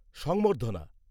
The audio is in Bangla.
সম্বর্ধনা